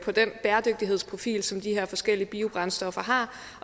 den bæredygtighedsprofil som de her forskellige biobrændstoffer har